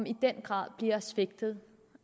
i den grad bliver svigtet